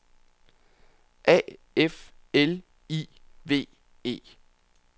A F L I V E